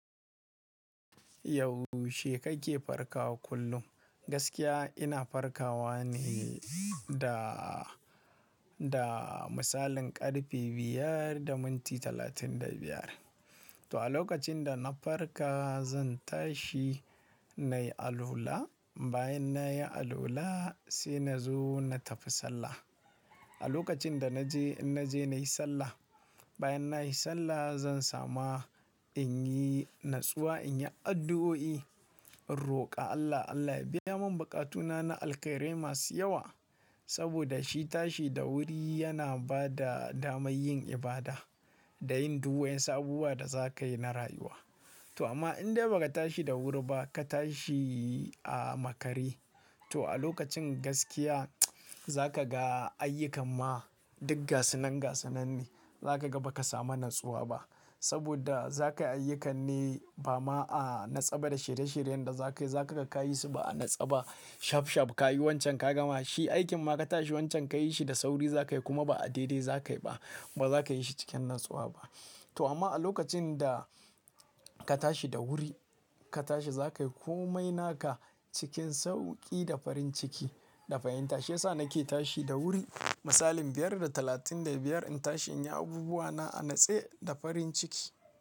Yau she kai ke farkawa kullum? Gaskiya ina farkawa ne da, da misalin ƙarfe biyar da minti talatin da biyar. To a lokacin da na farka zan tashi nayi alula, bayan nayi alula sai na zo na tafi sallah. A lokacin da naje, in naje nayi sallah, bayan nayi sallah zan sama in yi natsuwa, in yi addu'o'i, in roƙa Allah Allah ya biya mun buƙatuna na alkhairi masu yawa. Saboda shi tashi da wuri yana bada damar yin ibada da yin duk wuyan su abubuwan da za ka yi na rayuwa. To amma in dai ba ka tashi da wuri ba ka tashi a makare, to a lokacin gaskiya za ka ga ayyukan ma duk gasanan gasanan ne. Za ka ga ba ka samu natsuwa ba. Saboda za ka yi ayyukanni ba ma a natsaba da shirye shiryen da za ka yi, za ka kai su ba a natsaba. Shaf shaf ka yi wancan ka gama shi, aikin ma ka tashi wancan ka yi shi da sauri za ka yi kuma ba a dare za ka yi ba. Ba za ka yi shi cikin natsuwa ba. To amma a lokacin da ka tashi da wuri, ka tashi za ka yi komai naka cikin sauƙi da farin ciki da fahimta. Shiyasa na ke tashi da wuri misalin biyar da talatin da biyar in tashi in yi abubuwa na a natse da farin ciki.